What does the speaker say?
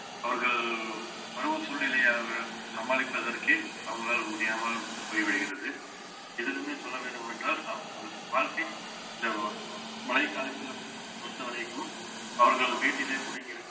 அவர்கள் பருவ சூழ்நிலையை அவர்கள் சமாளிப்பதற்கே அவங்களால் முடியாமல் போய்விடுகிறது எதிலுமே சொல்ல வேண்டும் என்றால் வாழ்க்கை என்றளவும் மழைக்காலத்திலும் பொறுத்தவரைக்கும் அவர்கள் வீட்டிலே முடங்கி இருக்கும்